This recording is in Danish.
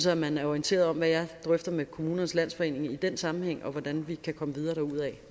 at man er orienteret om hvad jeg drøfter med kommunernes landsforening i den sammenhæng og hvordan vi kan komme videre derudaf